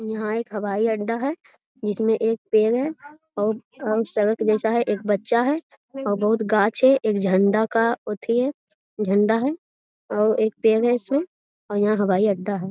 यहां एक हवाई अड्डा है। जिसमें एक पेड़ है और सड़क जैसा है। एक बच्चा है और बहुत गाछ है। एक झंडा का अथि है झंडा है। और एक पेड़ है इसमें और यहां हवाई अड्डा है।